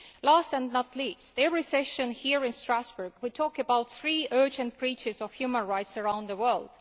Last and not least, at every session here in Strasbourg we talk about three urgent breaches of human rights around the world.